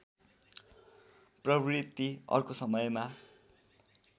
प्रवृत्ति अर्को समयमा